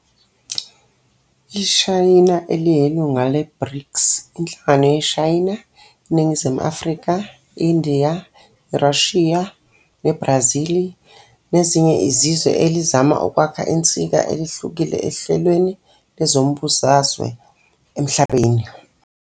IShayina iyilunga le-"BRICS", inhlangano yeShayina, iNingizimu Afrika, iNdiya, iRashiya neBrazili nezinye izizwe elizama ukwakha insika elihlukile ehlelweni lezombusazwe emhlabeni.